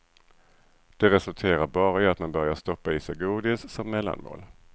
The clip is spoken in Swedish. Det resulterar bara i att man börjar stoppa i sig godis som mellanmål.